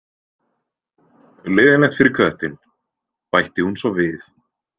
Leiðinlegt fyrir köttinn, bætti hún svo við.